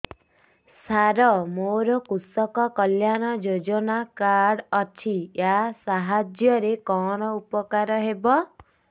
ସାର ମୋର କୃଷକ କଲ୍ୟାଣ ଯୋଜନା କାର୍ଡ ଅଛି ୟା ସାହାଯ୍ୟ ରେ କଣ ଉପକାର ହେବ